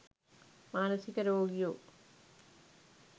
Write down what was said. මනසික රෝගියෝ?